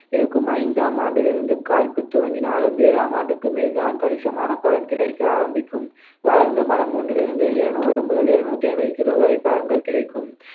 இருக்கும் ஐந்தாம் ஆண்டிலிருந்து காய்ப்புத் துவங்கினாலும் ஏழாம் ஆண்டுக்கு மேல்தான் கணிசமான பலன் கிடைக்க ஆரம்பிக்கும் வளர்ந்த மரம் ஒன்றிலிருந்து இருநூறு முதல் இருநூற்று ஐம்பது kilo வரை பழங்கள் கிடைக்கும்